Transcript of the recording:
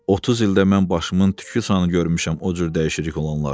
30 ildə mən başımın tükü sanı görmüşəm o cür dəyişirilik olanları.